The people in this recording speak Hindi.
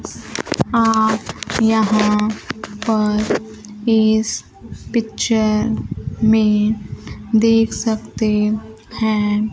आप यहां पर इस पिक्चर में देख सकते है।